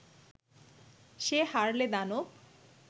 সে হারলে দানব